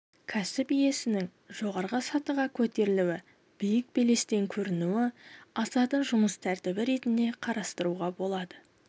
кәсіп иесінің жоғары сатыға көтерілуі биік белестен көрінуі асатын жұмыс тәртібі ретінде қарастыруға болады